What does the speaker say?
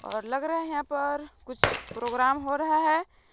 और लग रहे हैं यहां पर कुछ प्रोग्राम हो रहे है।